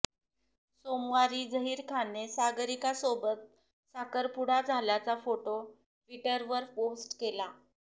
सोमवारी झहीर खानने सागरिकासोबत साखरपुडा झाल्याचा फोटो ट्विटरवर पोस्ट केला